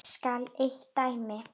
Nefnt skal eitt dæmi.